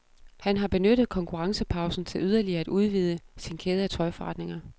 Han har benyttet konkurrencepausen til yderligere at udvide sin kæde af tøjforretninger.